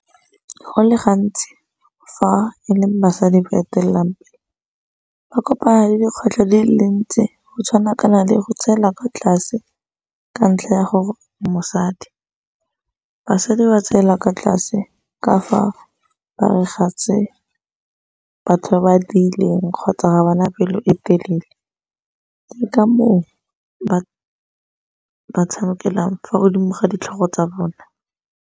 Go le gantsi fa e leng basadi ba etelelang pele, ba kopana le dikgwetlho di le dintsi go tshwana ka na le go tseela kwa tlase ka ntlha ya gore o mosadi. Basadi ba tseela kwa tlase ka fa tse batho ba ba di dirileng kgotsa ga bana pelo e telele, ke ka moo ba tshamekelang fa godimo ga ditlhogo tsa bona.